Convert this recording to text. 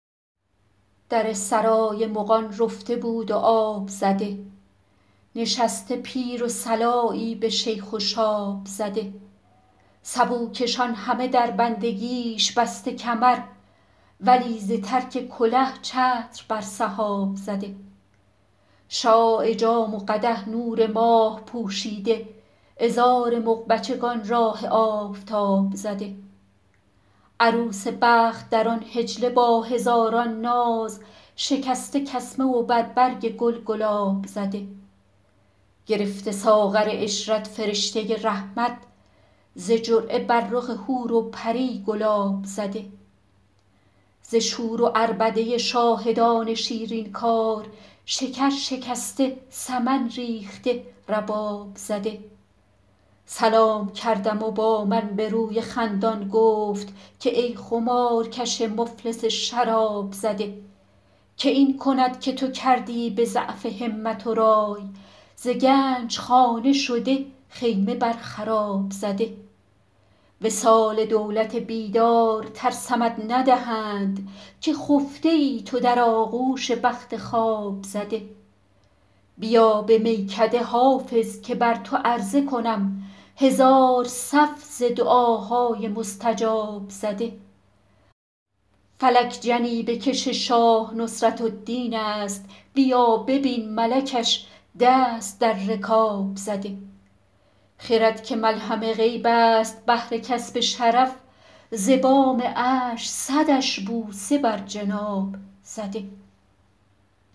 در سرای مغان رفته بود و آب زده نشسته پیر و صلایی به شیخ و شاب زده سبوکشان همه در بندگیش بسته کمر ولی ز ترک کله چتر بر سحاب زده شعاع جام و قدح نور ماه پوشیده عذار مغ بچگان راه آفتاب زده عروس بخت در آن حجله با هزاران ناز شکسته کسمه و بر برگ گل گلاب زده گرفته ساغر عشرت فرشته رحمت ز جرعه بر رخ حور و پری گلاب زده ز شور و عربده شاهدان شیرین کار شکر شکسته سمن ریخته رباب زده سلام کردم و با من به روی خندان گفت که ای خمارکش مفلس شراب زده که این کند که تو کردی به ضعف همت و رای ز گنج خانه شده خیمه بر خراب زده وصال دولت بیدار ترسمت ندهند که خفته ای تو در آغوش بخت خواب زده بیا به میکده حافظ که بر تو عرضه کنم هزار صف ز دعاهای مستجاب زده فلک جنیبه کش شاه نصرت الدین است بیا ببین ملکش دست در رکاب زده خرد که ملهم غیب است بهر کسب شرف ز بام عرش صدش بوسه بر جناب زده